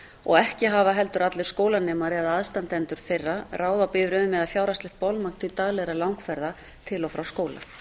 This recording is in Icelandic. og ekki hafa heldur allir skólanemar eða aðstandendur þeirra ráð á bifreiðum eða fjárhagslegt bolmagn til daglegra langferða til og frá skóla